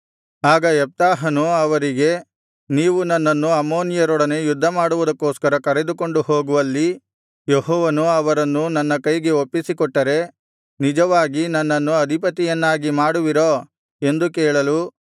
ಆಗ ಯೆಪ್ತಾಹನು ಅವರಿಗೆ ನೀವು ನನ್ನನ್ನು ಅಮ್ಮೋನಿಯರೊಡನೆ ಯುದ್ಧಮಾಡುವುದಕ್ಕೋಸ್ಕರ ಕರೆದುಕೊಂಡು ಹೋಗುವಲ್ಲಿ ಯೆಹೋವನು ಅವರನ್ನು ನನ್ನ ಕೈಗೆ ಒಪ್ಪಿಸಿಕೊಟ್ಟರೆ ನಿಜವಾಗಿ ನನ್ನನ್ನು ಅಧಿಪತಿಯನ್ನಾಗಿ ಮಾಡುವಿರೋ ಎಂದು ಕೇಳಲು